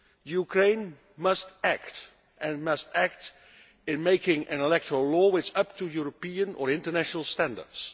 Ukraine must act and must act by making an electoral law which is up to European or international standards.